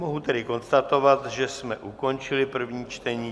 Mohu tedy konstatovat, že jsme ukončili první čtení.